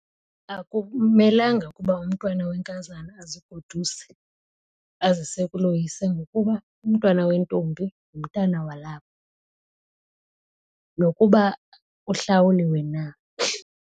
Akumelanga ukuba umntwana wenkazana azigoduse azise kuloyise ngokuba umntwana wentombi ngumntana walapha nokuba uhlawuliwe na.